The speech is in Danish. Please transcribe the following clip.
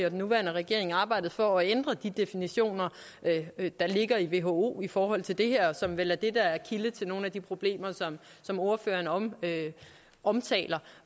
og den nuværende regering arbejdet for at ændre de definitioner der ligger i who i forhold til det her som vel er det der er kilde til nogle af de problemer som ordføreren omtaler